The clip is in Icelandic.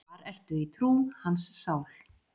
Þar ertu í trú, hans sál.